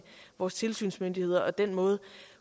vores tilsynsmyndigheder og den måde